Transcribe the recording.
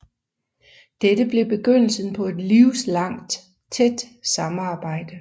Dette blev begyndelsen på et livslangt tæt samarbejde